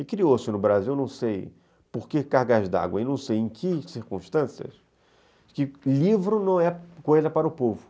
E criou-se no Brasil, não sei por que cargas d'água, não sei em que circunstâncias, que livro não é coisa para o povo.